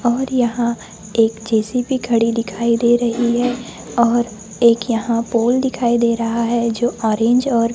और यहां एक जे_सी_बी खड़ी दिखाई दे रही है और एक यहां पोल दिखाई दे रहा है जो ऑरेंज और --